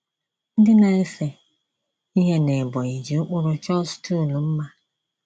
Ndị na-ese ihe n’Ebonyi ji ụkpụrụ chọọ stool mma.